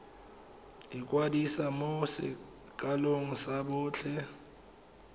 ikwadisa mo sekolong sa botlhe